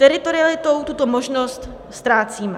Teritorialitou tuto možnost ztrácíme.